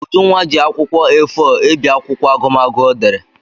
Ujunwa ji akwụkwọ A4 ebi akwụkwọ agụmagụ ọ dere.